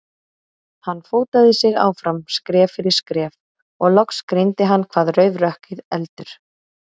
Hann fótaði sig áfram, skref fyrir skref, og loks greindi hann hvað rauf rökkrið, eldur.